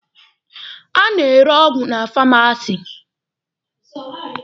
A na-ere ọgwụ na famasi.